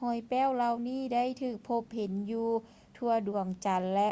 ຮອຍແປ້ວເຫຼົ່ານີ້ໄດ້ຖືກພົບເຫັນຢູ່ທົ່ວດວງຈັນ ແລະ